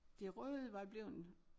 Det røde var bleven